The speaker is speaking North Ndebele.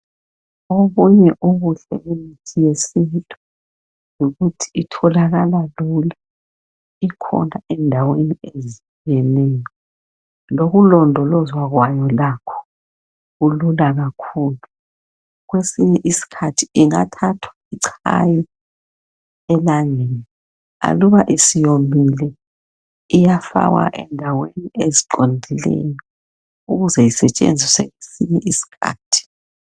Obunye ubuhle bemithi yesintu yikuthi itholakala lula. Ikhona endaweni ezitshiyeneyo lokulondolozwa kwayo lakho, kulula kakhulu. Kwesinye isikhathi ingathathwa ichaywe elangeni aluba isiyomile iyafakwa endaweni eziqondileyo ukuze isetshenziswe kwesinye isikhathi.